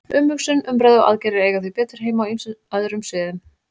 Umhugsun, umræða og aðgerðir eiga því betur heima á ýmsum öðrum sviðum.